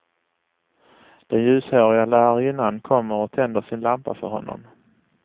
Den ljushåriga lärarinnan kommer och tänder sin lampa för honom.